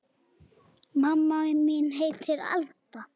Mamma mín heitir Alda.